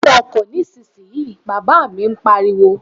Wo inú ọkọ̀ nísinsìnyí, bàbá mi pariwo